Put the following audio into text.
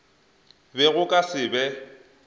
be go ka se be